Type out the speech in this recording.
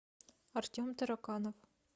артем тараканов